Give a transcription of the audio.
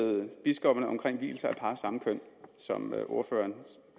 biskopperne omkring vielse af par af samme køn som ordføreren